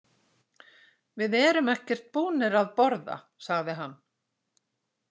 Við erum ekkert búnir að borða, sagði hann.